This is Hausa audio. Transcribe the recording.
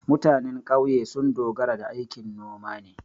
Mutanen ƙauye sun dogara da aikin noma ne.